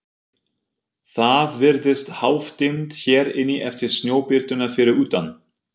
Það virðist hálfdimmt hér inni eftir snjóbirtuna fyrir utan.